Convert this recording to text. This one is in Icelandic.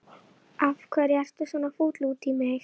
Þú átt ennþá eftir níu stundir Ísbjörg.